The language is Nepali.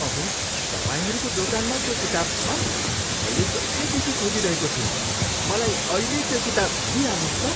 अहो! तपाईँहरूको दोकानमा त्यो किताब छ? मैले कहिलेदेखि खोजिरहेको थिएँ। मलाई अहिल्यै त्यो किताब दिइहाल्नुहोस् त!